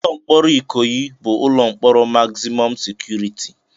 Ụlọ mkpọrọ Ikoyi bụ ụlọ mkpọrọ magzimọm sekuriti.